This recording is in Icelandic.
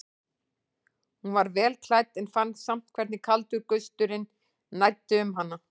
Hún var vel klædd en fann samt hvernig kaldur gusturinn næddi um hana.